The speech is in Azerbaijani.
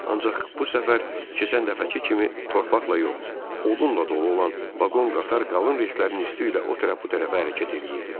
Ancaq bu səfər keçən dəfəki kimi torpaqla yox, odunla dolu olan vaqon qatar qalın relslərinin üstü ilə o tərəf bu tərəfə hərəkət eləyirdi.